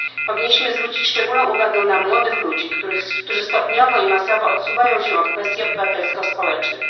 Powinniśmy zwrócić szczególną uwagę na młodych ludzi, którzy stopniowo i masowo odsuwają się od kwestii obywatelsko społecznych.